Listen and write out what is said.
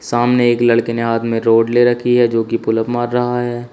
सामने एक लड़के ने हाथ में रोड ले रखी है जो कि पुल अप मार रहा है।